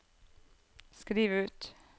skriv ut